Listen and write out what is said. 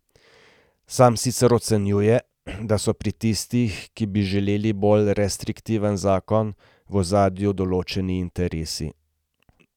Sam sicer ocenjuje, da so pri tistih, ki bi želeli bolj restriktiven zakon, v ozadju določeni interesi.